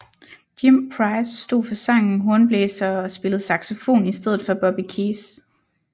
Jim Price stod for sangen hornblæsere og spillede saxofon i stedet for Bobby Keys